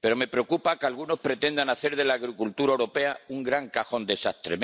pero me preocupa que algunos pretendan hacer de la agricultura europea un gran cajón de sastre.